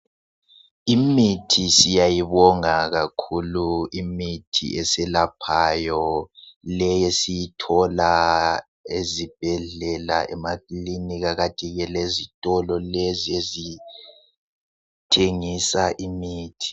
Imithi siyayibonga kakhulu imithi eselaphayo leyi esiyithola ezibhedlela, emakilinika kanti ke lezitolo lezi ezithengisa imithi.